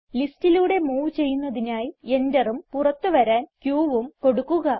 ലിസ്റ്റിലൂടെ move ചെയ്യുന്നതിനായി എന്ററും പുറത്ത് വരാൻ qഉം കൊടുക്കുക